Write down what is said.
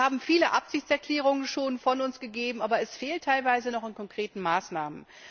Wir haben schon viele Absichtserklärungen von uns gegeben, aber es fehlt teilweise noch an konkreten Maßnahmen.